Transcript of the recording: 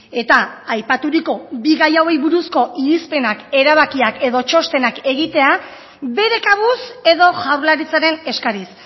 eta aipaturiko bi gai hauei buruzko irizpenak erabakiak edo txostenak egitea bere kabuz edo jaurlaritzaren eskariz